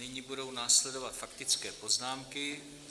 Nyní budou následovat faktické poznámky.